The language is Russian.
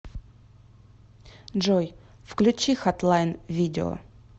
джой включи хатлайн видео